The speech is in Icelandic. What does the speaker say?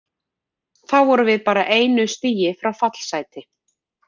Þá vorum við bara einu stigi frá fallsæti.